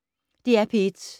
DR P1